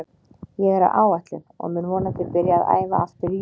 Ég er á áætlun og mun vonandi byrja að æfa aftur í júlí.